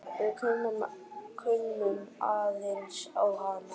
Við kunnum aðeins á hana.